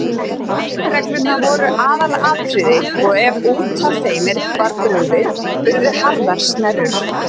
Leikreglurnar voru aðalatriði og ef út af þeim var brugðið urðu harðar snerrur.